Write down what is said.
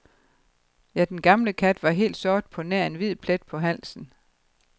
Ja, den gamle kat var helt sort på nær en hvid plet på halsen.